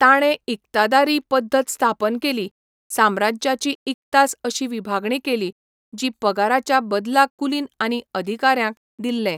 ताणें इकतादारी पद्दत स्थापन केली, साम्राज्याची इकतास अशी विभागणी केली, जीं पगाराच्या बदलाक कुलीन आनी अधिकाऱ्यांक दिल्लें.